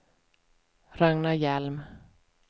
Ragnar Hjelm